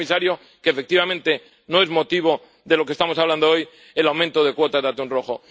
Decía el comisario que, efectivamente, no es el motivo de lo que estamos hablando hoy —el aumento de cuotas de atún rojo—.